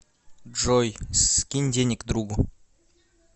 джой скинь денег другу